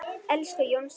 Elsku Jónsi.